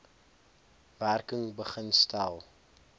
werking begin stel